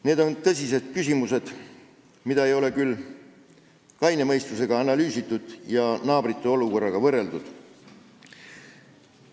Need on tõsised küsimused, mida ei ole küll kaine mõistusega analüüsitud, meie olukorda ei ole naabrite olukorraga võrreldud.